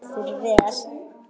Ekki að hann þurfi þess.